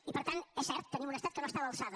i per tant és cert tenim un estat que no està a l’alçada